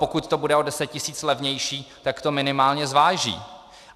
Pokud to bude o 10 tisíc levnější, tak to minimálně zváží.